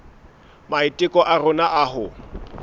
maiteko a rona a ho